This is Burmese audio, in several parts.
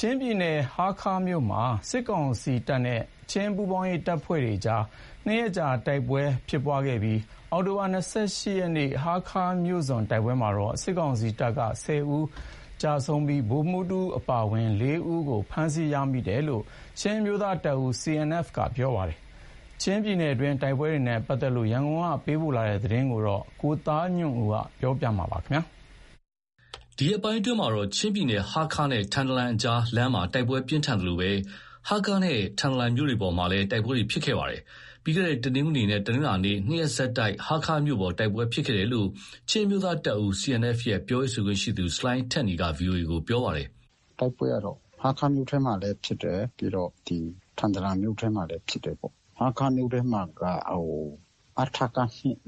ချင်းပြည်နယ် ဟားခါးမြို့မှာ စစ်ကောင်စီနဲ့ ချင်းပူးပေါင်းတပ်ဖွဲ့တွေကြား နှစ်ရက်ဆက် တိုက်ပွဲဖြစ်ခဲ့ပြီး အောက်တိုဘာ၂၈ ရက်နေ့ ဟားခါးမြို့စွန်တိုက်ပွဲမှာတော့ စစ်ကောင်စီတပ်က ၁၀ ဦးကျဆုံး၊ ဗိုလ်မှူး တဦးအပါ ၄ ဦးကို ဖမ်းဆီးရမိတယ်လို့ ချင်းအမျိုးသားတပ်ဦး CNF ရဲ့ ပြောရေးဆိုခွင့်ရှိသူက ပြောပါတယ်။ ချင်းပြည်နယ်တွင်း တိုက်ပွဲတွေနဲ့ပတ်သက်လို့ သတင်းပေးပို့ချက်ကို ကိုသားညွန့်ဦးက တင်ပြပေးထားပါတယ်။ ဒီရက်ပိုင်းတွေအတွင်း ချင်းပြည်နယ် ဟားခါးနဲ့ထန်တလန်ကြားလမ်းမှာ တိုက်ပွဲပြင်းထန်သလို ဟားခါးနဲ့ထန်တလန်မြို့ပေါ်တွေမှာလည်း တိုက်ပွဲဖြစ်ခဲ့ပါတယ်။ ပြီးခဲ့တဲ့ တနင်္ဂနွေနဲ့တနင်္လာနေ့ နှစ်ရက်ဆက်တိုက် ဟားခါးမြို့ပေါ် မှာ တိုက်ပွဲဖြစ်ခဲ့တယ်လို့ ချင်းအမျိုးသားတပ်ဦး CNF ရဲ့ ပြောရေးဆိုခွင့်ရှိသူ ဆလိုင်းထက်နီက VOA ကို ပြောပါတယ်။ “တိုက်ပွဲကတော့ ဟားခါးမြို့ထဲမှာလည်း ဖြစ်တယ်။ ပြီးတော့ ထန်တလန်မြို့ထဲမှာလည်း ဖြစ်တယ်ပေါ့။ ဟားခါးမြို့ထဲမှာ အထက ၂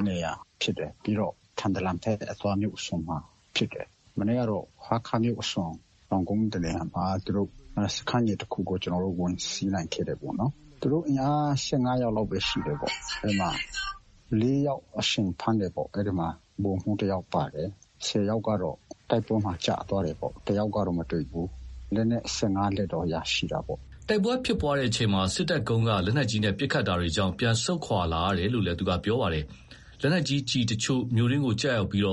နေရာဖြစ်တယ်။ ပြီးတော့ ထန်တလန်ဘက်အသွား မြို့အစွန်မှာဖြစ်တယ်။ မနေ့ကတော့ ဟားခါးမြို့အစွန် တောင်ကုန်းတနေရာမှာ သူတို့စခန်းငယ်တခုကို ကျနော်တို့ ဝင်စီးနိုင်ခဲ့ တယ်ပေါ့။ သူတို့အင်အား ၁၅ ယောက်လောက်ပဲ ရှိတယ်ပေါ့။ အဲဒီမှာ ၄ ယောက် အရှင် ဖမ်းတယ်ပေါ့။ အဲဒီမှာ ဗိုလ်မှူးတယောက်ပါတယ်။ ၁၀ ယောက်ကတော့ တိုက်ပွဲမှာ ကျသွားတယ်ပေါ့။ တယောက်ကတော့ မတွေ့ဘူး။ လက်နက် ၁၅ လက်တော့ ရရှိတာပေါ့။” တိုက်ပွဲဖြစ်ပွားချိန်မှာ စစ်တပ်ကုန်းက လက်နက်ကြီးနဲ့ ပစ်ခတ်တာတွေကြောင့် ပြန်ဆုတ်ခွာလာရတယ် လို့လည်း ပြောပါတယ်။ လက်နက်ကြီးကျည်အချို့ မြို့တွင်းကိုကျပြီး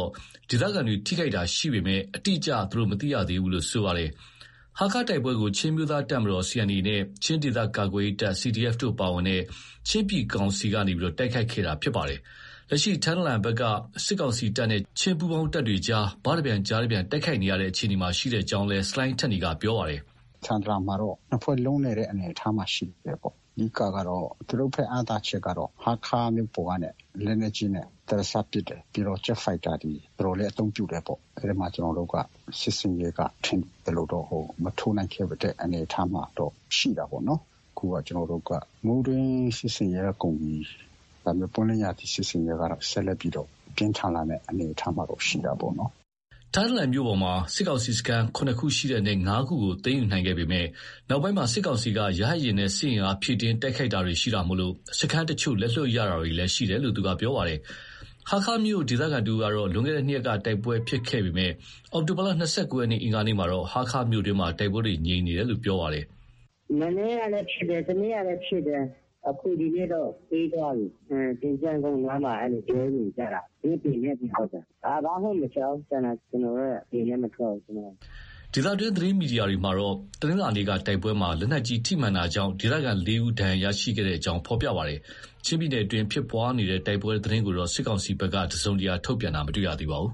ဒေသခံတွေ ထိခိုက်တာရှိပေမဲ့ အတိအကျ မသိရသေးဘူးလို့ဆိုပါတယ်။ ဟားခါးတိုက်ပွဲကို ချင်းအမျိုးသားတပ်မတော် CNA နဲ့ ချင်း ဒေသကာကွယ်ရေးတပ် CDF တို့ပါတဲ့ ချင်းပြည်ကောင်စီအစိုးရတပ်က တိုက်ခိုက်ခဲ့တာဖြစ်ပါတယ်။ လက်ရှိ ထန်တလန်ဘက်က စစ်ကောင်စီတပ်နဲ့ ချင်းပူးပေါင်းတပ်တွေကြား ဘတပြန်၊ ကျားတပြန် တိုက်ခိုက်နေရတဲ့အခြေအနေရှိကြောင်းလည်း ဆလိုင်းထက်နီက ပြောပါတယ်။ “ထန်တလန်မှာတော့ ၂ ဖွဲ့ လုံးနေတဲ့ အနေအထားမှာ ရှိတာပေါ့။ အဓိက,ကတော့ သူတို့ဘက်က အားသာချက်က ဟားခါးမြို့ပေါ်ကနေ လက်နက်ကြီးနဲ့ ဒရစပ်ပစ်တယ်။ ပြီးတော့ ဂျက်ဖိုက်တာတွေ တော်တော်လေး အသုံးပြုတယ်ပေါ့။ အဲဒီမှာ ကျနော်တို့က စစ်ဆင်ရေးက ထင်သလိုတော့ မထိုးနိုင်တဲ့ အနေအထားမှာတော့ ရှိတာပေါ့နော်။ အခုက ကျနော်တို့ကမိုးတွင်း စစ်ဆင်ရေးက ကုန်ပြီ။ ဒါပေမဲ့ ပွင့်လင်းရာသီ စစ်ဆင်ရေးကတော့ ဆက်လက်ပြီးတော့ ပြင်းထန်လာမယ့်အနေအထားတော့ ရှိတာပေါ့။” ထန်တလန်မြို့ပေါ်မှာ စစ်ကောင်စီစခန်း ၇ ခုရှိတဲ့အနက် ၅ ခုကို သိမ်းယူနိုင်ခဲ့ပေမယ့် နောက်ပိုင်း စစ်ကောင်ကရဟတ်ယာဉ်နဲ့ စစ်အင်အားဖြည့်တင်းတိုက်ခိုက်တာတွေ ရှိတာကြောင့် စခန်းအချို့ လက်လွှတ်ရတာတွေလည်းရှိတယ်လို့ ပြောပါတယ်။ ဟားခါးမြို့ ဒေသခံတဦးကတော့ လွန်ခဲ့တဲ့ ၂ ရက်က တိုက်ပွဲဖြစ်ခဲ့ပေမဲ့ အောက်တိုဘာလ ၂၉ ရက်အင်္ဂါနေ့မှာ ဟားခါးမြို့တွင်း တိုက်ပွဲတွေ ငြိမ်သက်နေတယ်လို့ ပြောပါတယ်။ “မနေ့ကလည်း ဖြစ်တယ်။ တနေ့ကလည်း ဖြစ်တယ်။ အခု ဒီနေ့တော့ အေးသွားပြီ။ သင်္ချိုင်းကုန်းနားမှာ အဲလို ပြောနေကြတာ။ မြို့ ပြင်ဟုတ်တယ်။ ဘာမှမကြားဘူး ကျန်တာ။ ကျနော်တို့ အပြင်လည်း မထွက်ဘူးဆိုတော့။” ဒေသတွင်း သတင်းမီဒီယာမှာကတော့ တနင်္လာနေ့တိုက်ပွဲမှာ လက်နက်ကြီးထိမှန်တာကြောင့် ဒေသခံ ၄ ဦး ဒဏ်ရာရခဲ့ကြောင်း ဖော်ပြပါတယ်။ ချင်းပြည်နယ်အတွင်းဖြစ်ပွားတဲ့တိုက်ပွဲသတင်းကိုတော့ စစ်ကောင်စီဘက်က ထုတ်ပြန်တာမတွေ့ရပါဘူး